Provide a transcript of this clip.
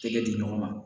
Tɛgɛ di ɲɔgɔn ma